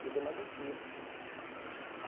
Ele deu mais um tiro.